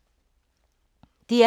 DR P2